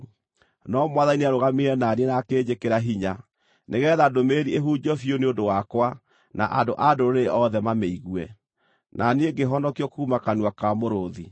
No Mwathani nĩarũgamire na niĩ na akĩnjĩkĩra hinya, nĩgeetha ndũmĩrĩri ĩhunjio biũ nĩ ũndũ wakwa na andũ-a-Ndũrĩrĩ othe mamĩigue. Na niĩ ngĩhonokio kuuma kanua ka mũrũũthi.